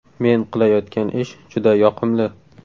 Men qilayotgan ish juda yoqimli.